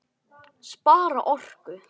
Spara orku.